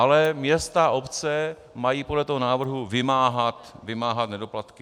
Ale města a obce mají podle tohoto návrhu vymáhat nedoplatky.